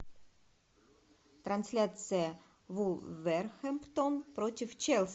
трансляция вулверхэмптон против челси